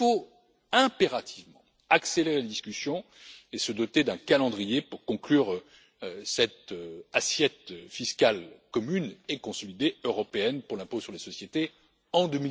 Il faut impérativement accélérer les discussions et se doter d'un calendrier pour conclure cette assiette fiscale commune et consolidée européenne pour l'impôt sur les sociétés